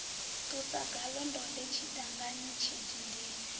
ṱusa ngaḽo ndode tshidangani tshidindini